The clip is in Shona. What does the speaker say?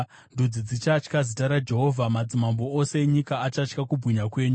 Ndudzi dzichatya zita raJehovha, madzimambo ose enyika achatya kubwinya kwenyu.